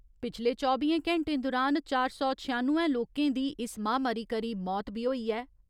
पिछले चौबियें घैंटें दुरान चार सौ छेआनुए लोकें दी इस महामारी करी मौत बी होई ऐ।